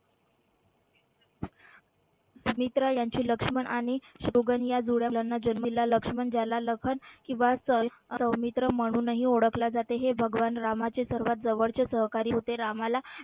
सुमित्रा यांची लक्ष्मण आणि शत्रुघ्न या जुळ्या मुलांना जन्म दिला लक्ष्मण ज्याला लखन किंवा सौमित्र म्हणून ही ओळखल जाते हे भगवान रामाचे सर्वात जवळचे सहकारी होते. रामाला